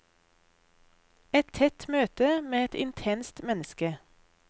Et tett møte med et intenst menneske.